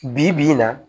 Bi bi in na